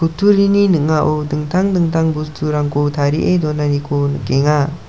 utturini ning·ao dingtang dingtang bosturangko tarie donaniko nikenga.